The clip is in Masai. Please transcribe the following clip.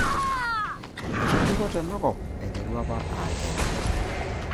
Etobiko tenakop aiteru apa aa nkera.